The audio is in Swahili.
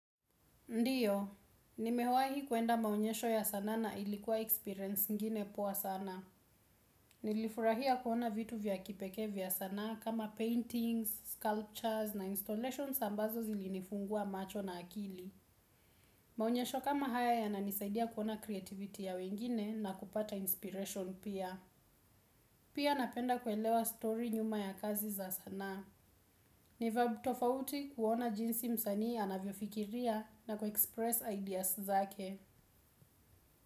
Ndiyo, nimewai kuenda maonyesho ya sanaa na ilikuwa experience ingine powa sana. Nilifurahia kuona vitu vya kipekee vya sanaa kama paintings, sculptures na installations ambazo zilinifungua macho na akili. Maonyesho kama haya ya nanisaidia kuona creativity ya wengine na kupata inspiration pia. Pia napenda kuelewa story nyuma ya kazi za sanaa. Ni vibe tofauti kuona jinsi msanii anavyofikiria na kuexpress ideas zake.